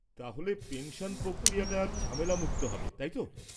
তাহলে, পেনশন প্রক্রিয়াটা ঝামেলামুক্ত হবে, তাই তো?